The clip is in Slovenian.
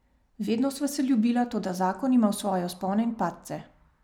Vedno sva se ljubila, toda zakon ima svoje vzpone in padce.